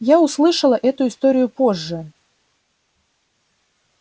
я услышала эту историю позже